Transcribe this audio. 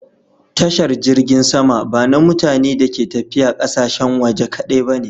Tashar jirgin sama ba na mutane da ke tafiya ƙasashen waje kadai ba ne.